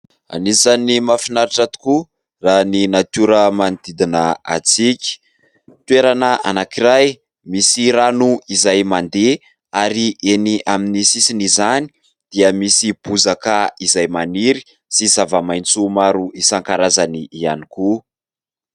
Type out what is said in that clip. Anisan'ny mahafinaritra tokoa, raha ny natiora manodidina antsika. Toerana anankiray misy rano izay mandeha ary eny amin'ny sisiny izany dia misy bozaka izay maniry sy zava-maintso maro isan-karazany ihany koa.